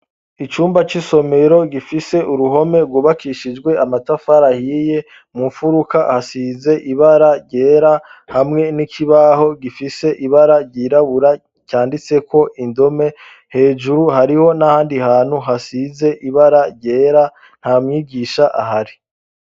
Icumba c'isomero gifise uruhome gubakishijwe amatafari ahiye mu mfuruka hasize ibara ryera hamwe n'ikibaho gifise ibara ryirabura canditseko indome hejuru hariho n'ahandi hantu hasize ibara ryera nta mwigisha ahari.